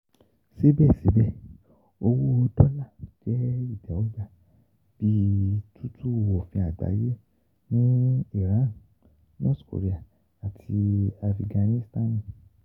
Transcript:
Sibẹsibẹ, owo dolla jẹ itẹwọgba bi tutu ofin agbaye ni Iran, North Korea, ati Afiganisitani.